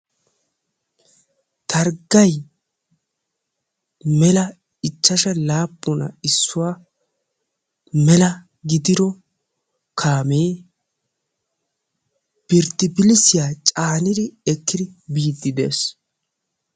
targgay mela ichashsha laapuna issuwa mela gididdo kaamee birdibillissiya caanidi ekkidi biidi dees.